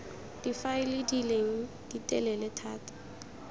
difaele di leng ditelele thata